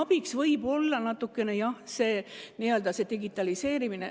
Siin võib abiks olla natukene, jah, digitaliseerimine.